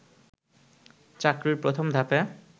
চাকরির প্রথম ধাপে